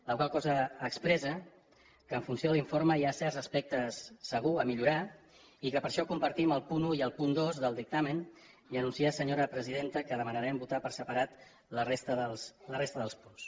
la qual cosa expressa que en funció de l’informe hi ha certs aspectes segur a millorar i que per això compartim el punt un i el punt dos del dictamen i anunciar senyora presidenta que demanarem votar per separat la resta dels punts